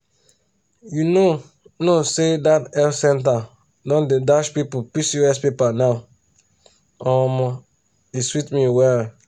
you know know say that health center don dey dash people pcos paper now omo e sweet me well.